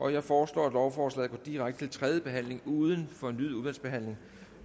jeg foreslår at lovforslaget går direkte til tredje behandling uden fornyet udvalgsbehandling